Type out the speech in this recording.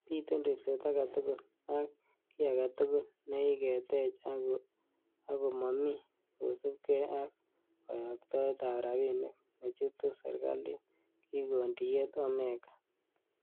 Biten ribset agetugul, ak gii agetugul nekiketech ak komomi kosiibge ak koyoktoet ab rabinik nechutu serkalit,''Kikon tiyet Omeka